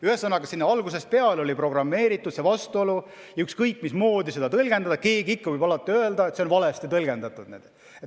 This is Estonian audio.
Ühesõnaga, sinna oli algusest peale programmeeritud see vastuolu ja ükskõik mismoodi seda seadust tõlgendada, keegi võib ikka alati öelda, et see on valesti tõlgendatud.